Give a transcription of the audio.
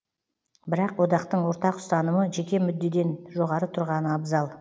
бірақ одақтың ортақ ұстанымы жеке мүддеден жоғары тұрғаны абзал